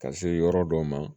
Ka se yɔrɔ dɔ ma